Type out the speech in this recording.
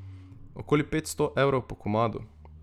Okoli petsto evrov po komadu.